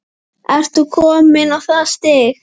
Ert þú kominn á það stig?